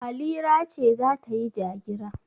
Halira ce za ta yi ja-gira.